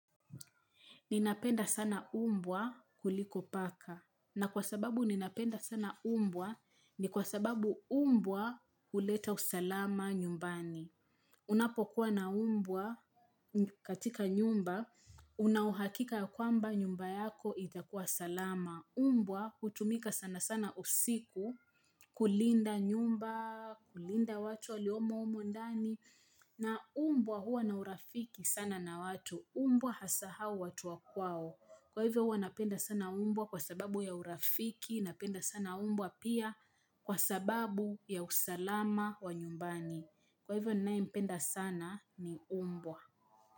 Ninapenda sana umbwa kuliko paka. Na kwa sababu ninapenda sana umbwa ni kwa sababu umbwa huleta usalama nyumbani. Unapokuwa na umbwa katika nyumba, una uhakika ya kwamba nyumba yako itakuwa salama. Umbwa hutumika sana sana usiku kulinda nyumba, kulinda watu waliomo humo ndani. Na umbwa huwa na urafiki sana na watu. Umbwa hasahau watu wa kwao Kwa hivyo wanapenda sana umbwa Kwa sababu ya urafiki Napenda sana umbwa pia Kwa sababu ya usalama wa nyumbani Kwa hivyo ninaye mpenda sana ni umbwa.